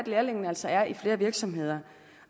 lærlingene altså er i flere virksomheder